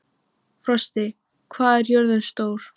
Frosti, hvað er jörðin stór?